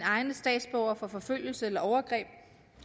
egne statsborgere for forfølgelse eller overgreb